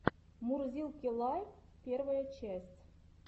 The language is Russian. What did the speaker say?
мурзилки лайв первая часть